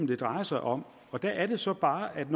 det drejer sig om og der er det så bare at